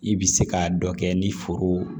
I bɛ se k'a dɔ kɛ ni foro